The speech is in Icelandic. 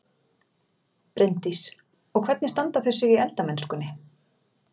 Bryndís: Og hvernig standa þau sig í eldamennskunni?